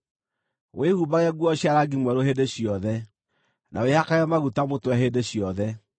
Wĩhumbage nguo cia rangi mwerũ hĩndĩ ciothe, na wĩhakage maguta mũtwe hĩndĩ yothe.